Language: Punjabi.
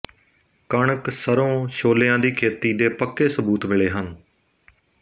ਕਣਕ ਸਰੋਂ ਛੋਲਿਆਂ ਦੀ ਖੇਤੀ ਦੇ ਪੱਕੇ ਸਬੂਤ ਮਿਲੇ ਹਨ